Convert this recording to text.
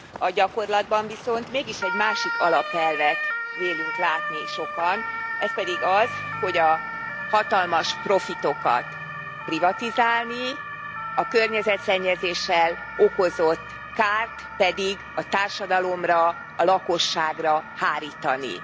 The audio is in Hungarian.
A gyakorlatban viszont mégis egy másik alapelvet vélünk látni sokan ez pedig az, hogy a hatalmas profitokat privatizálni, a környezetszennyezéssel okozott kárt pedig a társadalomra, a lakosságra hárítani.